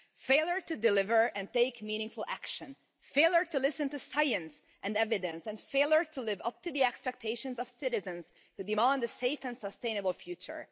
Failure to deliver and take meaningful action, failure to listen to science and evidence, and failure to live up to the expectations of citizens, who demand a safe and sustainable future.